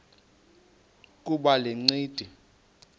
kuba le ncindi